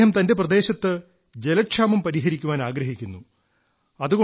അദ്ദേഹം തന്റെ പ്രദേശത്ത് ജലക്ഷാമം പരിഹരിക്കാനാഗ്രഹിക്കുന്നു